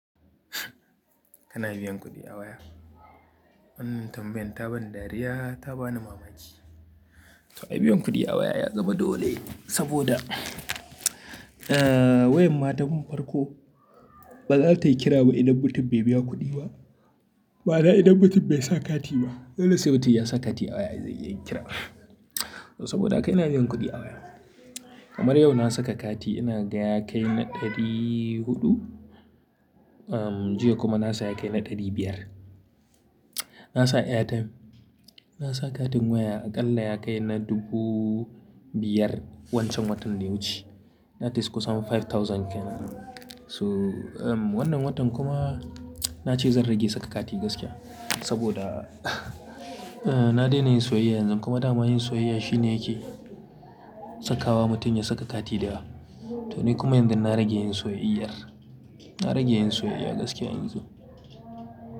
Kana biyan kuɗi awaya. Wannan tambayan ta bani dariya, ta ba ni mamaki. To ai biyan kuɗi awaya ya zama dole? Saboda wayan ma tun farko ba zata yi kira ba idan mutum bai biya kuɗi ba. Ma'ana idan mutum bai sa kati ba. Dole sai mutum ya sa kati awaya zai kira. Saboda haka ina biyan kuɗi awaya. Kamar yau na saka kati, ina gaya kai na ɗari huɗu, jiya kuma na sa ya kai na ɗari biyar. Na sa airtime, na sa katin waya aƙalla ya kai na dubu biyar wancan watan da ya wuce. That is kusan five thousand. So wannan watan kuma na ce zan rage saka kati gaskiya. Saboda na daina yin soyayya yanzu kuma dama yin soyayya shine yake sakawa mutum ya saka kati da wa. To ni kuma yanzu na rage yin soyayyar. Na rage yin soyayya gaskiya yanzu.